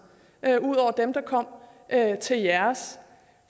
ud over dem der kom til jeres